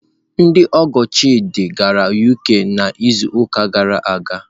Ndị ọgọ Chidị gara UK n'izuụka gara aga.